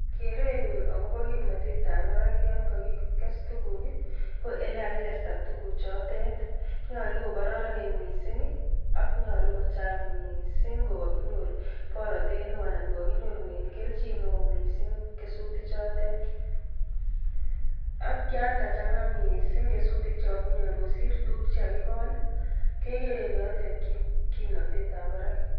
Kerenyu agobo kimnatetab barak yon kakiges tuguk, ko ele kagigesta tuguk chotet. Nyolu ko koraranen mising, ak nyolu kochang mising ko kaginyor boratet neo anan ko kaginyorune kelchin neo mising kesutik chotet. Ak yan kachang'a mising kesutik chogaginyor kosir tuguk che kagigol, kegere eng yotet kim kimnatetab barak.